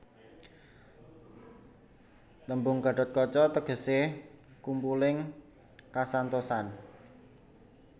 Tembung gathotkaca tegesé kumpuling kasantosan